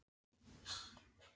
Óli á. há joð ó ell.